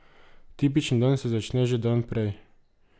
Tipični dan se začne že dan prej.